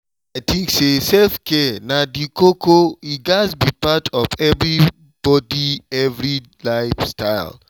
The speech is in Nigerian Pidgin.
i tink say self-care na the koko e gatz be part of everybody everyday life style